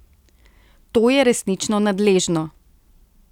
To je resnično nadležno.